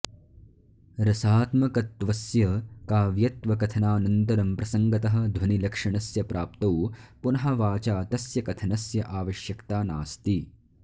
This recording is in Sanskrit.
रसात्मकत्वस्य काव्यत्वकथनानन्तरं प्रसङ्गतः ध्वनिलक्षणस्य प्राप्तौ पुनः वाचा तस्य कथनस्य आवश्यकता नास्ति